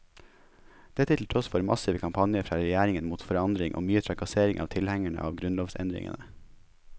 Dette til tross for massive kampanjer fra regjeringen mot forandring og mye trakassering av tilhengerne av grunnlovsendringene.